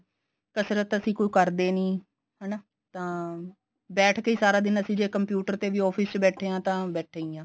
ਕਸਰਤ ਅਸੀਂ ਕੋਈ ਕਰਦੇ ਨੀ ਹਨਾ ਤਾਂ ਬੈਠ ਕੇ ਵੀ ਅਸੀਂ ਸਾਰਾ ਦਿਨ ਜੇ computer ਤੇ ਵੀ office ਚ ਬੈਠੇ ਆ ਤਾਂ ਬੈਠੇ ਹੀ ਆ